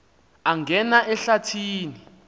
angena ehlathi ni